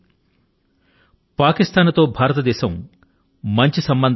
అప్పట్లో భారతదేశం పాకిస్తాన్తో సత్సంబంధాల ను పెంచుకొనే ప్రక్రియ లో నిమగ్నమైంది